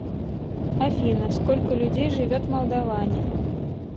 афина сколько людей живет в молдоване